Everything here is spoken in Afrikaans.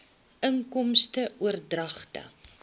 inkomste oordragte